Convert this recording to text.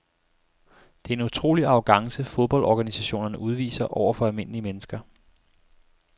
Det er en utrolig arrogance fodboldorganisationerne udviser over for almindelige mennesker.